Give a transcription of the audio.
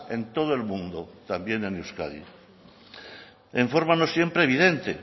en todo el mundo también en euskadi en forma no siempre evidente